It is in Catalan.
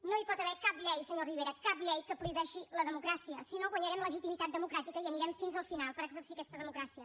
no hi pot haver cap llei senyor rivera cap llei que prohibeixi la democràcia si no guanyarem legitimitat democràtica i anirem fins al final per exercir aquesta de mocràcia